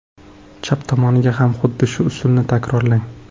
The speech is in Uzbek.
Chap tomoniga ham xuddi shu usulni takrorlang.